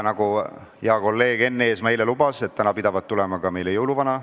Nagu hea kolleeg Enn Eesmaa eile lubas, täna pidavat meile külla tulema jõuluvana.